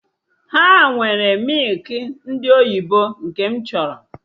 Ha enweghị mịkị ndị oyibo nke m chọrọ